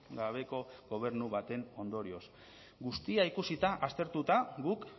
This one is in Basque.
gabeko gobernu baten ondorioz guztia ikusita aztertuta guk